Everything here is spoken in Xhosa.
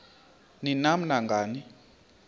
ni nam nangani